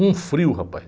Um frio, rapaz.